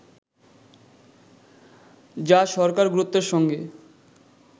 যা সরকার গুরুত্বের সঙ্গে